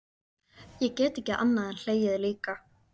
Ég get ekki annað en hlegið líka.